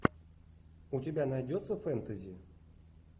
у тебя найдется фентези